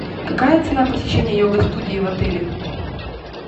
какая цена посещения йога студии в отеле